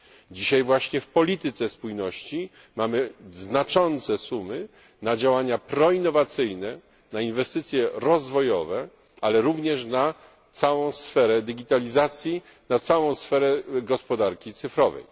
Dzisiaj właśnie w polityce spójności mamy znaczące sumy na działania proinnowacyjne, na inwestycje rozwojowe, ale również na całą sferę digitalizacji, na całą sferę gospodarki cyfrowej.